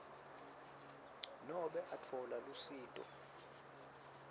nobe atfola lusito